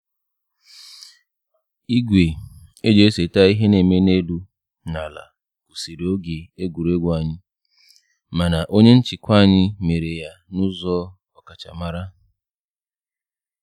Igwe eji eseta ihe na-eme n'elu na ala kwụsịrị oge egwuregwu anyị, mana onye nchịkwa anyị mere ya na ụzọ ọkachamara